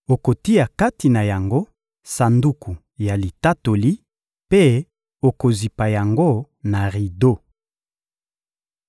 okotia kati na yango Sanduku ya Litatoli mpe okozipa yango na rido.